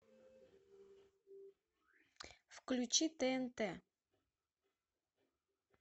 включи тнт